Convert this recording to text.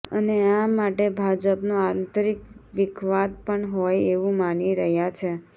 અને આ માટે ભાજપનો આંતરિક વિખવાદ પણ હોય એવું માની રહયા છે